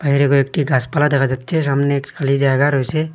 এখানে কয়েকটি গাসপালা দেখা যাচ্ছে সামনে একটি খালি জায়গা রয়েছে।